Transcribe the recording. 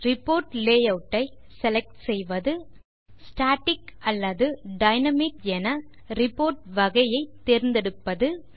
report layout ஐ select செய்வது static அல்லது டைனாமிக் என ரிப்போர்ட் வகையை தேர்ந்தெடுப்பது